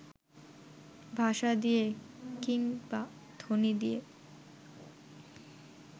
ভাষা দিয়ে কিংবা ধ্বনি দিয়ে